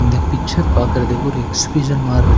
இந்த பிச்சர் பாக்குறதுக்கு ஓரு எக்சிபிசன் மார்ருக்--.